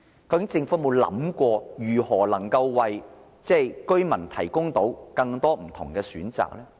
究竟政府有沒有想過，如何能夠為居民提供更多不同的選擇呢？